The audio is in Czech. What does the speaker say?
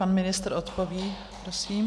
Pan ministr odpoví, prosím.